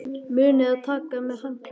Munið að taka með handklæði!